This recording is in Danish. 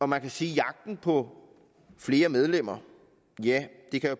man kan sige at jagten på flere medlemmer